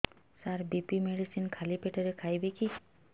ସାର BP medicine ଖାଲି ପେଟରେ ଖାଇବି କି